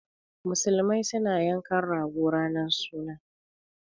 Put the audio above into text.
Muslimai su na yanka rago ranan sunna.